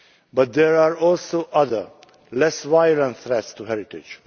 But there are also other, less violent, threats to heritage.